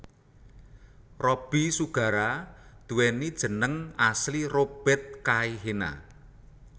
Robby Sugara nduwéni jeneng asli Robert Kaihena